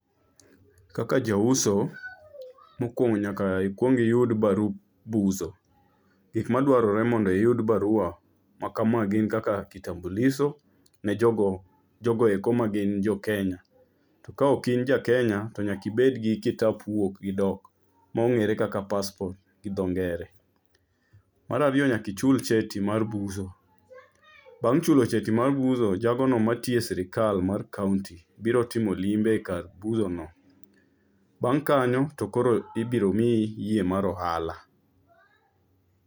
Kaka jauso, mokwongo nyaka ikwong iyud barup uso,. Gik madwarore mondo iyud barua ma kama gin kaka kitambulisho ne jogo eko ma gin Jokenya. To ka ok in Jakenya, to nyaka ibed gi kikap wuok gi dik, mong'ere kaka passport gi dho ngere. Mar ariyo, nyaka ichul cheti mar buso, bang' chulo cheti mar buso, jagono matiyo e sirikal mar kaonti biro timo limbe e kar busono. Bang' kanyo to koro ibiro miyi yie mar ohala.